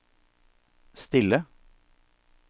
stille